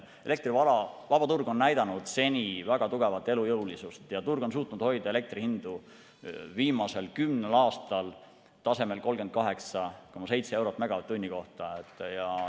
Elektri vabaturg on näidanud seni väga tugevat elujõulisust ja turg on suutnud hoida elektrihindu viimasel kümnel aastal tasemel 38,7 eurot megavatt-tunni kohta.